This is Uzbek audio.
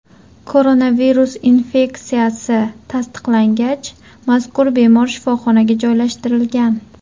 Koronavirus infeksiyasi tasdiqlangach, mazkur bemor shifoxonaga joylashtirilgan.